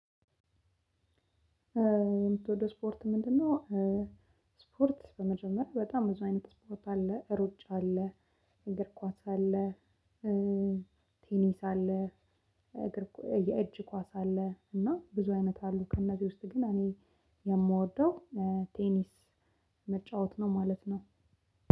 የምትወደው ስፖርት ምንድነው? ስፖርት በመጀመሪያ በጣም ብዙ አይነት ስፖርት አለ ሮጫ አለ። እንግር ኳስ አለ። ቴኒስ አለ። የእጅ ኳስ አለ እና ብዙ አይነት አሉ። ከእነዚህ ውስጥ ግን እኔ የምወደው ቴኒስ መጫወት ነው ማለት ነው።